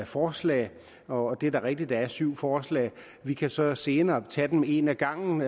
forslag og det er da rigtigt at der er syv forslag vi kan så senere tage dem et ad gangen